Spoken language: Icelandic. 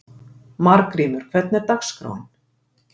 Margrímur, hvernig er dagskráin?